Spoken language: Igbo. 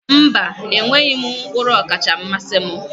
Mba, enweghị m mkpụrụ ọkacha mmasị m.